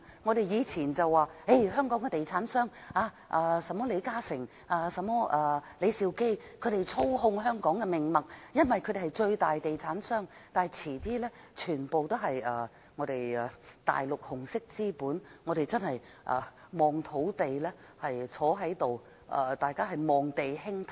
我們以前會說，香港的地產商，例如李嘉誠、李兆基等操控香港的命脈，因為他們是最大的地產商，但遲些時候便會全部由大陸紅色資本操控，屆時大家只可坐着望地興歎。